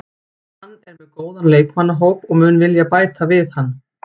Hann er með góðan leikmannahóp og mun vilja bæta við hann.